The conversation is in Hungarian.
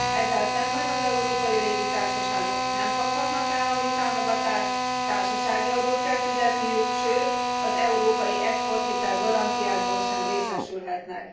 Ezzel szemben az európai légitársaságok nem kaphatnak állami támogatást, társasági adót kell fizetniük, sőt az európai exporthitel garanciákból sem részesülhetnek.